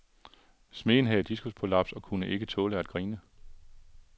Smeden havde diskusprolaps og kunne ikke tåle at grine.